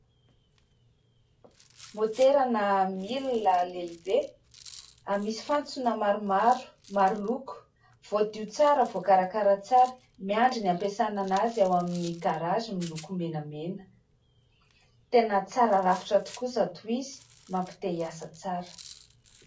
Motera na milina lehibe misy fantsona maromaro, maro loko, voadio tsara, voakarakara tsara miandry ny ampiasana an'azy ao amin'ny "garage" miloko menamena. Tena tsara rafitra tokoa izato izy, mampite iasa tsara.